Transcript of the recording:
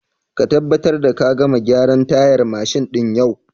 Ka tabbatar da ka gama gyaran tayar mashin din yau!